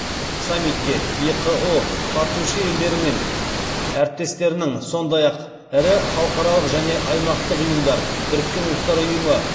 саммитке еқыұ қатысушы елдері мен әріптестерінің сондай ақ ірі халықаралық және аймақтық ұйымдар біріккен ұлттар ұйымы